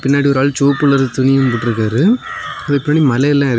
பின்னாடி ஒரு ஆள் செவப்பு கலர் துணியூ போட்ருக்காரு அதுக்கு பின்னாடி மலையெல்லா.